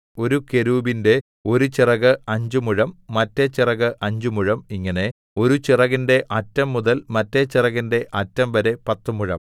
ഒരു കെരൂബിന്റെ ഒരു ചിറക് അഞ്ച് മുഴം മറ്റെ ചിറക് അഞ്ച് മുഴം ഇങ്ങനെ ഒരു ചിറകിന്റെ അറ്റം മുതൽ മറ്റെ ചിറകിന്റെ അറ്റംവരെ പത്തുമുഴം